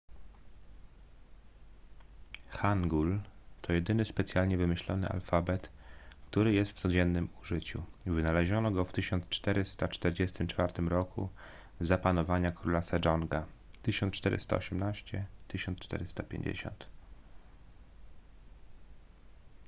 hangul to jedyny specjalnie wymyślony alfabet który jest w codziennym użyciu. wynaleziono go w 1444 roku za panowania króla sejonga 1418–1450